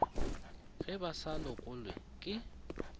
ge ba sa lokelwe ke